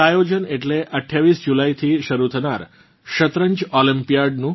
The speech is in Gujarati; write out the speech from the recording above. તે આયોજન એટલે 28 જુલાઇથી શરૂ થનાર શતરંજ ઓલમ્પિયાડનું